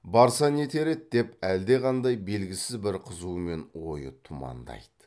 барса нетер еді деп әлдеқандай белгісіз бір қызумен ойы тұмандайды